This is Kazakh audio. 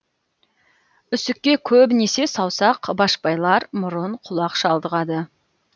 үсікке көбінесе саусақ башпайлар мұрын құлақ шалдығады